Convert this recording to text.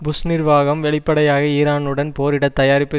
push நிர்வாகம் வெளிப்படையாக ஈரானுடன் போரிடத் தயாரிப்பு